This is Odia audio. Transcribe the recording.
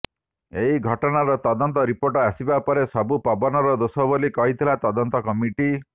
ଏହି ଘଟଣାର ତଦନ୍ତ ରିପୋର୍ଟ ଆସିବା ପରେ ସବୁ ପବନର ଦୋଷ ବୋଲି କହିଥିଲା ତଦନ୍ତ କମିଟି